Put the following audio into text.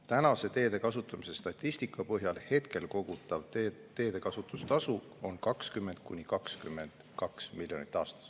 Praegu on teede kasutamise tasu statistika põhjal 20–22 miljonit aastas.